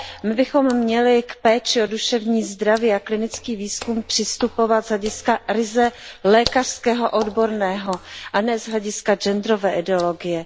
My bychom měli k péči o duševní zdraví a klinický výzkum přistupovat z hlediska ryze lékařského a odborného a ne z hlediska genderové ideologie.